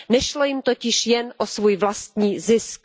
Nešlo jim totiž jen o svůj vlastní zisk.